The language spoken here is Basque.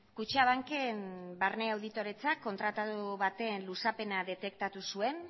kutxabanken barne auditoretzak kontratadu baten luzapena detektatu zuen